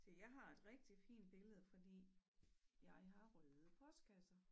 Se jeg har et rigtig fint billede fordi jeg har røde postkasser